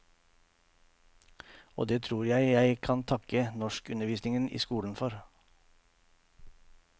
Og det tror jeg jeg kan takke norskundervisningen i skolen for.